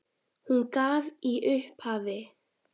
Hún gaf í upphafi